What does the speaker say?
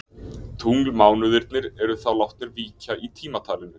Tunglmánuðirnir eru þá látnir víkja í tímatalinu.